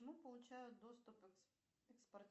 получают доступ